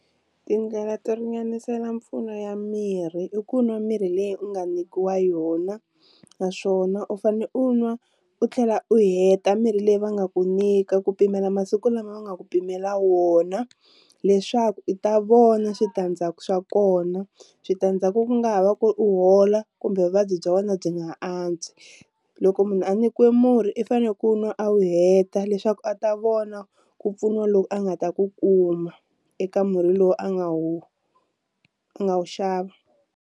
Tindlela to ringanisela mpfuno ya mirhi i ku nwa mirhi leyi u nga nyikiwa yona naswona u fanele u nwa u tlhela u heta mirhi leyi va nga ku nyika ku pimela masiku lama va nga ku pimela wona, leswaku u ta vona switandzhaku swa kona, switandzhaku ku nga ha va ku ri u hola kumbe vuvabyi bya wena byi nga antswi, loko munhu a nyikiwe murhi i fanele ku nwa a wu heta leswaku a ta vona ku pfuniwa loko a nga ta ku kuma eka murhi lowu a nga wu nga wu xava.